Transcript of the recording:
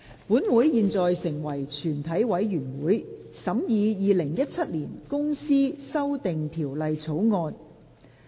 本會現在成為全體委員會，審議《2017年公司條例草案》。